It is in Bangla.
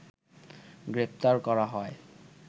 গ্রেফতার করা হয়